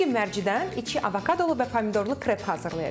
Bu gün mərcidən içi avokadolu və pomidorlu krep hazırlayacam.